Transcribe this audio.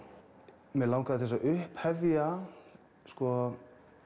mig langaði til að upphefja sko